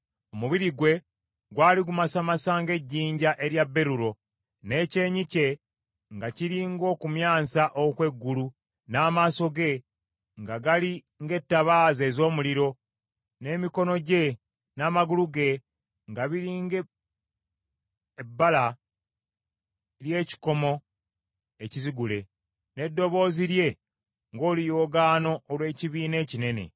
Omubiri gwe gwali gumasamasa ng’ejjinja erya berulo, n’ekyenyi kye nga kiri ng’okumyansa okw’eggulu, n’amaaso ge nga gali ng’ettabaaza ez’omuliro, n’emikono gye n’amagulu ge nga biri ng’ebbala ly’ekikomo ekizigule, n’eddoboozi lye ng’oluyoogaano olw’ekibiina ekinene.